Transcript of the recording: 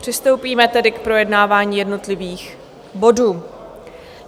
Přistoupíme tedy k projednávání jednotlivých bodů.